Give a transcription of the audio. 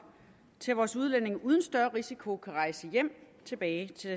til at vores udlændinge uden større risiko kan rejse hjem tilbage til